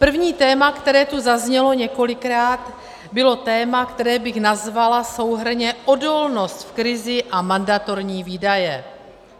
První téma, které tu zaznělo několikrát, bylo téma, které bych nazvala souhrnně odolnost v krizi a mandatorní výdaje.